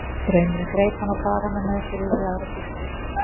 Straumurinn greip hana og bar hana með sér yfir í aðra sýslu.